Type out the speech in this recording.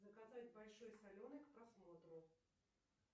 заказать большой соленый к просмотру